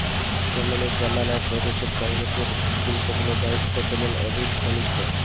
সোমেনের জমানায় প্রদেশের কংগ্রেসের গুরুত্বপূর্ণ দায়িত্ব পেলেন অধীর ঘনিষ্ঠ